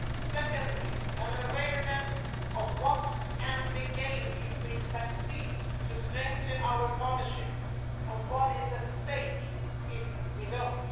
Secondly, an awareness of what can be gained if we succeed in strengthening our partnership and what is at stake if we don't.